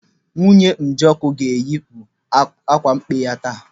Nwunye Njoku ga-eyipu akwa mkpe ya taa.